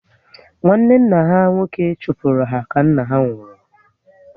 Nwanne nna ha nwoke chụpụrụ ha ka nna ha nwụrụ